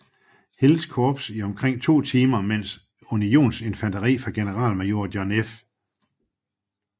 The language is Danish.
Hills korps i omkring to timer mens unionsinfanteri fra generalmajor John F